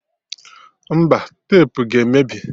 Mba, tepu ga-emebi